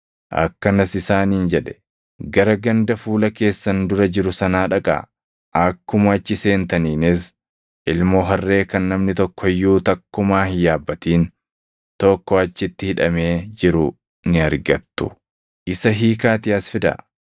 akkanas isaaniin jedhe; “Gara ganda fuula keessan dura jiru sanaa dhaqaa; akkuma achi seentaniinis, ilmoo harree kan namni tokko iyyuu takkumaa hin yaabbatin tokko achitti hidhamee jiru ni argattu. Isa hiikaatii as fidaa.